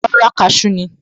Rárá, cashew ni